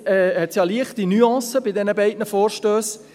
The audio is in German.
Zwischen diesen beiden Vorstössen liegt ja eine leichte Nuance;